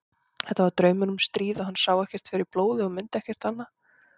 Þetta var draumur um stríð og hann sá ekkert fyrir blóði og mundi ekkert annað.